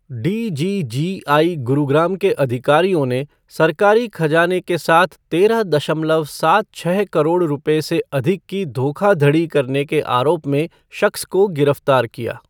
DGGI Gurugram के अधिकारियों ने सरकारी खजाने के साथ तेरह दशमलव सात छः करोड़ रुपये से अधिक की धोखाधड़ी करने के आरोप में शख्स को गिरफ्तार किया।